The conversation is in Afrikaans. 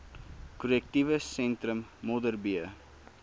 korrektiewe sentrum modderbee